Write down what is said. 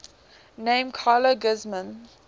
named carla guzman